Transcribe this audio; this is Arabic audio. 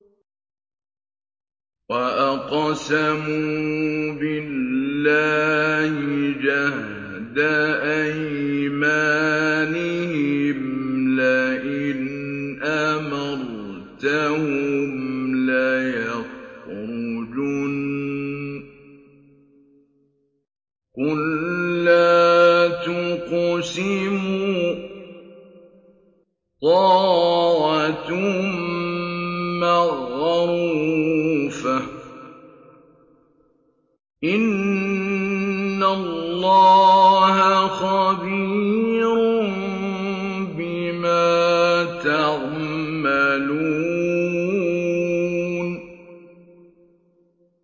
۞ وَأَقْسَمُوا بِاللَّهِ جَهْدَ أَيْمَانِهِمْ لَئِنْ أَمَرْتَهُمْ لَيَخْرُجُنَّ ۖ قُل لَّا تُقْسِمُوا ۖ طَاعَةٌ مَّعْرُوفَةٌ ۚ إِنَّ اللَّهَ خَبِيرٌ بِمَا تَعْمَلُونَ